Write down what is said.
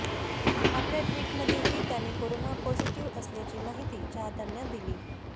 आपल्या ट्विटमध्येही त्याने करोना पॉझिटिव्ह आल्याची माहिती चाहत्यांना दिली